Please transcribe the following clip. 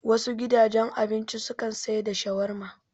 Wasu gidajen abinci su kan sai da shawarma